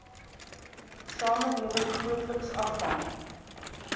samelewing grootliks afhang